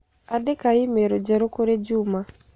Andika i-mīrū njerũ kũrĩ Juma